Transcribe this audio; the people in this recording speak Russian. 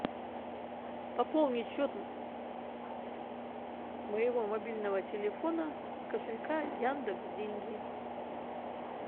пополнить счет моего мобильного телефона с кошелька яндекс деньги